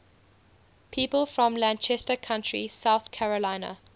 people from lancaster county south carolina